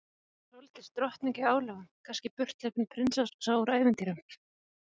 Telur millistéttina enda í fátækt